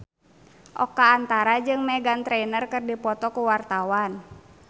Oka Antara jeung Meghan Trainor keur dipoto ku wartawan